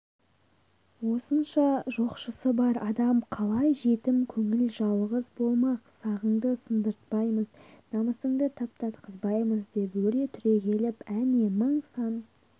осынша жоқшысы бар адам қалай жетім көңіл жалғыз болмақ сағыңды сындыртпаймыз намысыңды таптатқызбаймыз деп өре түрегеліп әне мың-сан